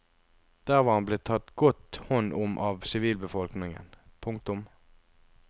Der var han blitt tatt godt hånd om av sivilbefolkningen. punktum